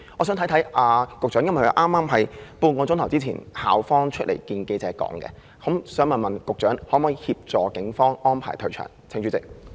由於這是校方半小時前向記者交代的情況，我想問局長可否呼籲警方安排退場？